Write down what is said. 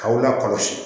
K'aw la kɔlɔsi